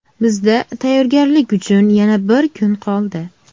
Bizda tayyorgarlik uchun yana bir kun qoldi.